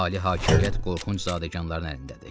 Ali hakimiyyət qorxunc zadəganların əlindədir.